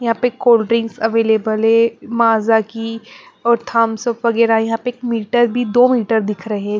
यहाँ पे cold drinks available है माजा की और थम्स अप वगैरह यहाँ पे एक मीटर भी दो मीटर दिख रहे हैं।